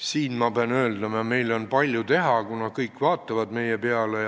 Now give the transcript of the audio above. Siin, ma pean ütlema, on meil palju teha, kuna kõik vaatavad meie poole.